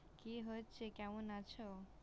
কি হচ্ছে? কেমন আছ?